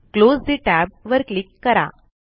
close ठे tab वर click करा